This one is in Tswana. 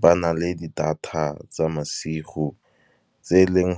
ba nale di data tsa masigo tse e leng .